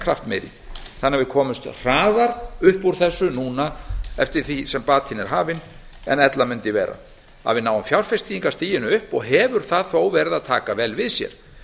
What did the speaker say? kraftmeiri þannig að við komumst hraðar upp úr þessu núna eftir því sem batinn er hafinn en ella mundi vera að við náum fjárfestingarstiginu upp og hefur það þó verið að taka vel við sér